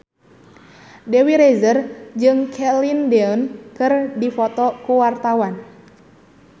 Dewi Rezer jeung Celine Dion keur dipoto ku wartawan